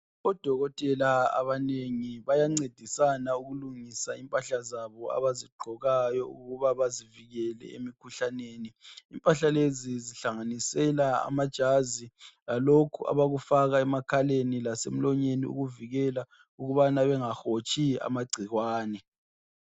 Odokotela abanengi bayancedisana ukulungisa impahla zabo abazigqokayo ukuba bazivikele emikhuhlaneni impahla lezi zihlanganisela amajazi lalokhu abakufaka emakhaleni lase mlonyeni ukuvikela ukubana bengahotshi amagcikwane.